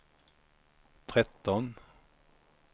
tretton